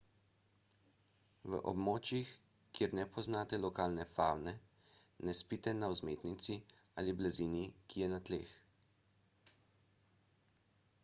v območjih kjer ne poznate lokalne favne ne spite na vzmetnici ali blazini ki je na tleh